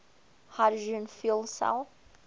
hydrogen fuel cell